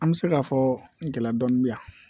An bɛ se k'a fɔ gɛlɛya dɔɔnin bɛ yan